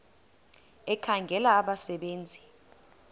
ekhangela abasebe nzi